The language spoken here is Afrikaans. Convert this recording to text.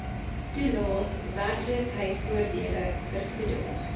toelaes werkloosheidvoordele vergoeding